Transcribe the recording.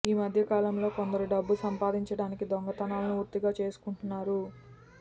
ఈ మధ్యకాలంలో కొందరు డబ్బు సంపాదించడానికి దొంగతనాలను వృత్తిగా చేసుకుంటున్నారు